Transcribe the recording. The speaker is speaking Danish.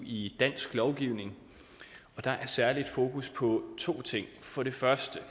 i dansk lovgivning og der er særlig fokus på to ting for det første